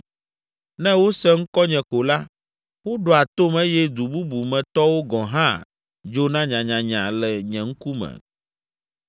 Ne wose ŋkɔnye ko la, woɖoa tom eye du bubu me tɔwo gɔ̃ hã dzona nyanyanya le nye ŋkume.